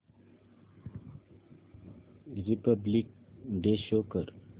Republic day show कर